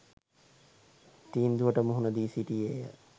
තීන්දුවට මුහුණ දී සිටියේය